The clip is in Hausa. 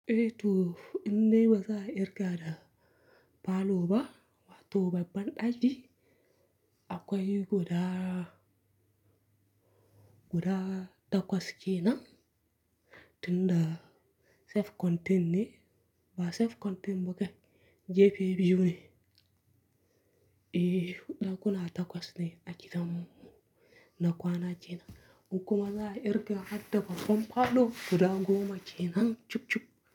Eh to in dai wa za a kirga da falo ba, wa to babban daji. Akwai guda, guda takwas kenan. Tun da safe continue ba safe continue ba kai, JP biyu ne. Eh, dakuna takwas ne a gidan na kwana kenan. Duk kuma za a kirga har da babban falo guda goma kenan, chup chup.